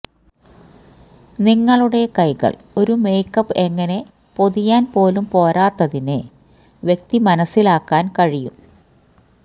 നിങ്ങളുടെ കൈകൾ ഒരു മേക്കപ്പ് എങ്ങനെ പൊതിയാൻ പോലും പോരാത്തതിന് വ്യക്തി മനസ്സിലാക്കാൻ കഴിയും